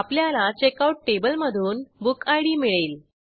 आपल्याला चेकआउट टेबलमधून बुकिड मिळेल